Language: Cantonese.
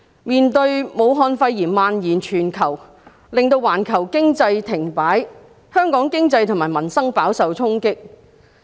面對武漢肺炎蔓延全球，令到環球經濟停擺，香港經濟及民生飽受衝擊。